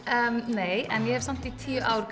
nei en ég hef samt í tíu ár